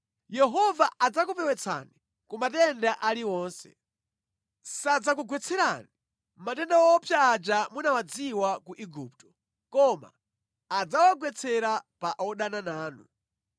Yehova adzakupewetsani ku matenda aliwonse. Sadzakugwetserani matenda owopsa aja munawadziwa ku Igupto, koma adzawagwetsera pa odana nanu.